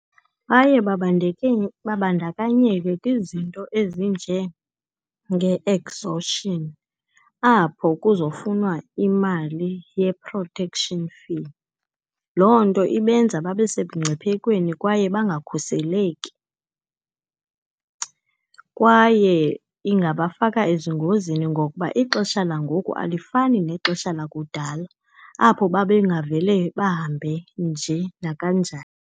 Baye babandakanyeke kwizinto ezinjenge-exhaustion, apho kuzofunwa imali ye-protection fee. Loo nto ibenza babe semngciphekweni, kwaye bangakhuseleki. Kwaye ingabafaka ezingozini ngokuba ixesha langoku alifani nexesha lakudala, apho babengavele bahambe nje nakanjani.